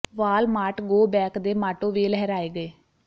ਵਾਲ mart go back ਦੇ motto ਵੀ ਲਹਰਾਏ ਗਏ